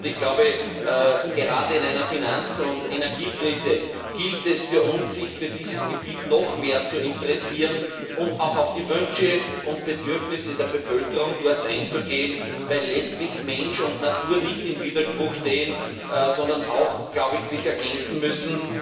Ich glaube, gerade in einer Finanz und Energiekrise gilt es für uns, sich für dieses Gebiet noch mehr zu interessieren und auch auf die Wünsche und Bedürfnisse der Bevölkerung dort einzugehen, weil letztlich Mensch und Natur nicht im Widerspruch stehen, sondern sich ergänzen müssen.